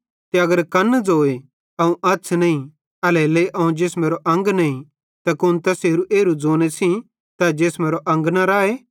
ते अगर कन्न ज़ोए अवं अछ़ नईं एल्हेरेलेइ अवं जिसमेरो अंग नईं त कुन तैसेरू एरू ज़ोने सेइं तै जिसमेरो न राए